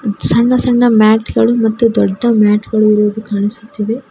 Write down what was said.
ಸಣ್ಣ ಸಣ್ಣ ಮ್ಯಾಟ್ ಗಳು ಮತ್ತು ದೊಡ್ಡ ಮ್ಯಾಟ್ ಗಳು ಇರೋದು ಕಾಣಿಸುತ್ತಿವೆ.